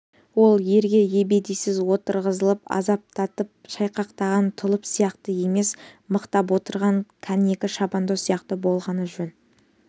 ол ерге ебедейсіз отырғызылып азаптанып шайқақтаған тұлып сияқты емес мықтап отырған кәнігі шабандоз сияқты болғаны жөн